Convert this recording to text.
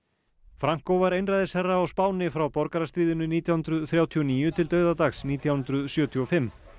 franco var einræðisherra á Spáni frá borgarastríðinu nítján hundruð þrjátíu og níu til dauðadags nítján hundruð sjötíu og fimm